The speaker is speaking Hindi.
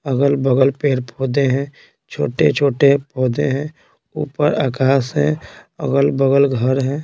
अगल-बगल पेड़-पौधे हैं छोटे-छोटे पौधे हैं ऊपर आकाश है अगल-बगल घर हैं।